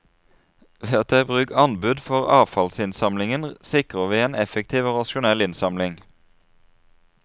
Ved å ta i bruk anbud for avfallsinnsamlingen sikrer vi en effektiv og rasjonell innsamling.